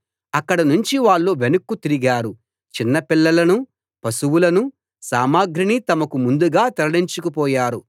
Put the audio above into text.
అక్కడి నుంచి వాళ్ళు వెనక్కు తిరిగారు చిన్నపిల్లలనూ పశువులనూ సామగ్రినీ తమకు ముందుగా తరలించుకు పోయారు